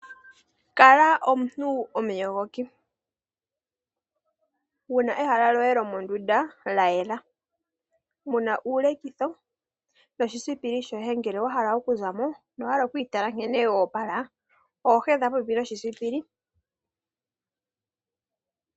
Kala omuntu omuyogoki wu na ehala loye lomondunda lya yela. Muna uulekitho noshisipili shoye ngele wa hala okuza mo no wa hala oku itala nkene wa opala, oho hedha popepi noshisipili.